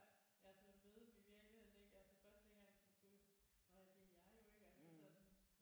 Ja ja sådan at møde dem i virkeligheden ikke altså først tænkte jeg sådan gud nåh ja det er jer jo ikke altså sådan